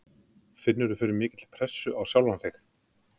Finnurðu fyrir mikilli pressu á sjálfan þig?